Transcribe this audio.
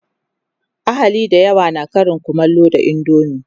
ahali da yawa na Karin kumallo da indomie